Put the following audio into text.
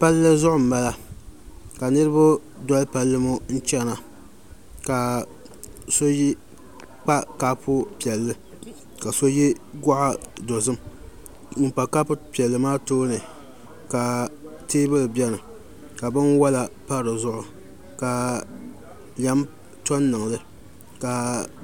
Palli zuɣu n bala ka niraba doli palli ŋo chɛna ka so kpa kaapu piɛlli ka so yɛ goɣa dozim ŋun kpa kapu piɛlli maa tooni ka teebuli biɛni ka bunwola pa dizuɣu ka lɛm to n niŋli ka